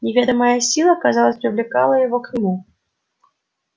неведомая сила казалось привлекала его к нему